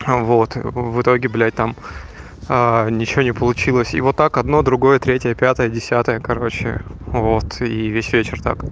вот в итоге блять там ничего не получилось и вот так одно другое третье пятое десятое короче вот ии весь вечер так